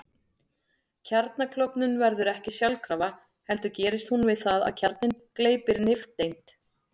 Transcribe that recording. Kjarnaklofnun verður ekki sjálfkrafa heldur gerist hún við það að kjarninn gleypir nifteind.